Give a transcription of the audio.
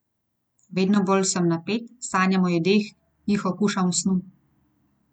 Vedno bolj sem napet, sanjam o jedeh, jih okušam v snu.